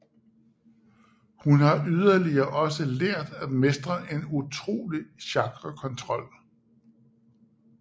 Hun har yderligere også lært at mestre en utrolig chakra kontrol